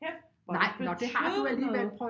Kæft hvor det betød noget